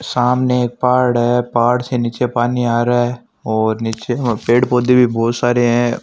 सामने एक पहाड़ है पहाड़ से निचे पानी आ रहा है और निचे पेड़ पोधे भी बहुत सारे है।